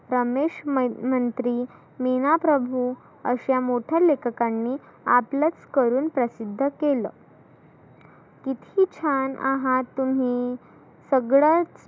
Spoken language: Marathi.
समेश मन मंत्री, मीना प्रभु अशा मोठ्या लेखकांनी आपलच करुण प्रसिद्ध केलं. किती छान आहात तुम्ही सगळ्यात